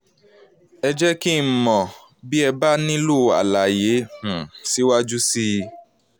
ẹ jẹ́ kí n mọ̀ n mọ̀ bí ẹ bá nílò àlàyé um síwájú sí i